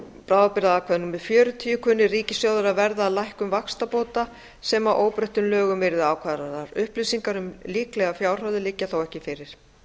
bráðabirgðaákvæði xl kunni ríkissjóður að verða af lækkun vaxtabóta sem að óbreyttum lögum yrðu ákvarðaðar upplýsingar um líklegar fjárhæðir liggja þó ekki fyrir